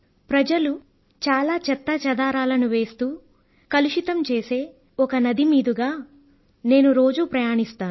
ప్రజలు చాలా చెత్తాచెదారాన్ని వేస్తూ కలుషితం చేసే ఒక నది మీదుగా నేను రోజూ ప్రయాణిస్తాను